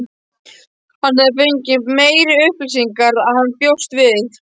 Hann hafði fengið meiri upplýsingar en hann bjóst við.